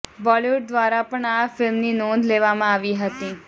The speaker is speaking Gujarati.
બોલિવુડ દ્વારા પણ આ ફિલ્મની નોંધ લેવામાં આવી હતી